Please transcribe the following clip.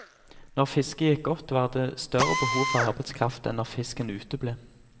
Når fisket gikk godt, var det større behov for arbeidskraft enn når fisken uteble.